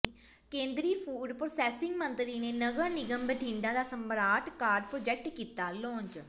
ਕੇਂਦਰੀ food processing ਮੰਤਰੀ ਨੇ ਨਗਰ ਨਿਗਮ ਬਠਿੰਡਾ ਦਾ ਸਮਾਰਟ ਕਾਰਡ ਪ੍ਰੋਜੈਕਟ ਕੀਤਾ ਲਾਂਚ